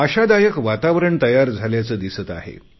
आशादायक वातावरण तयार झाल्याचे दिसत आहे